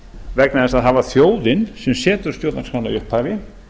vegna þess að það var þjóðin sem setur stjórnarskrána í upphafi